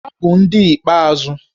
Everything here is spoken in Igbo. Ha bụ ndị ikpeazụ